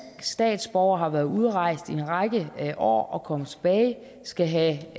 statsborger har været udrejst i en række år og kommer tilbage og skal have